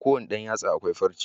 A kowanne Dan yatsa akwai farce